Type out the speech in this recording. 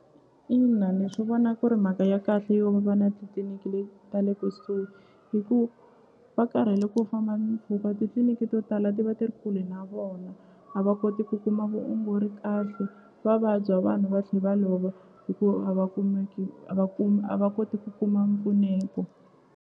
Ina ni swi vona ku ri mhaka ya kahle yo va na ta le kusuhi hi ku va karhele ku famba mimpfhuka titliliniki to tala ti va ti ri kule na vona a va koti ku kuma vuongori kahle va vabya vanhu va tlhe va lova hi ku a va kumiki a va kumi a va koti ku kuma mpfuneto.